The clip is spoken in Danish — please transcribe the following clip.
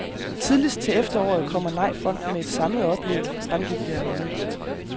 Tidligst til efteråret kommer nejfronten med et samlet oplæg, fremgik det af mødet.